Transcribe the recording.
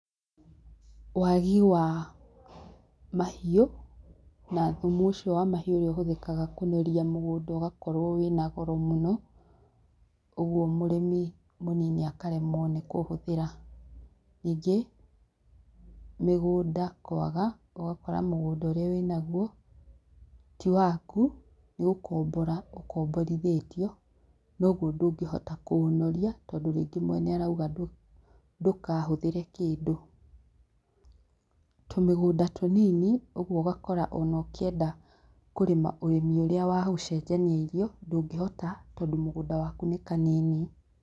Waagi wa mahiũ na thũmu ũcio wa mahiũ ũrĩa ũhũthĩkaga kunoria mũgũnda ũgakorwo wĩna goro mũno ũguo mũrĩmi mũnini akaremwo nĩ kũhũthĩra. Ningĩ mĩgũnda kwaga ũgakora mũgũnda ũria wĩnaguo ti waku nĩ gũkombora ũkomborithĩtio koguo ndũngĩhota kũũnoria tondũ mwene nĩarauga ndũkahũthĩre kĩndũ, tũmĩgũnda tũnini ũguo ũgakora ona ũkĩenda kũrĩma ũrĩmi ũrĩa wa gũcenjania irio ndũngĩũhota tondũ mũgũnda waku nĩ kanini.